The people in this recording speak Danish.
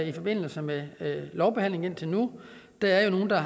i forbindelse med lovbehandlingen indtil nu der er jo nogle der